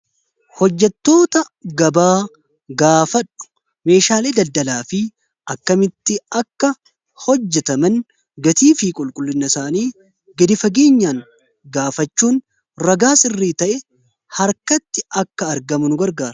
hojjatoota gabaa gaafadhu meeshaalee daddalaa fi akkamitti akka hojjataman gatii fi qulqullinna isaanii gadi fageenyaan gaafachuun ragaa sirrii ta'e harkatti akka argamu nu gargaara